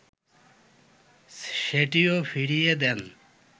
সেটিও ফিরিয়ে দেন